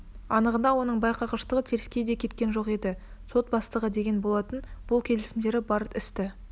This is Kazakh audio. анығында оның байқағыштығы теріске кеткен де жоқ еді сот бастығы деген болатын бұл кесімдері бар істі